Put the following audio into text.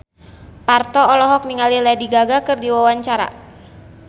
Parto olohok ningali Lady Gaga keur diwawancara